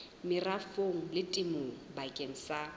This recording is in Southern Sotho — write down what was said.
merafong le temong bakeng sa